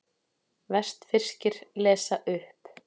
Vestfirskir lesa upp